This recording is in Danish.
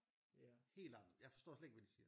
Helt anderledes jeg forstår slet ikke hvad de siger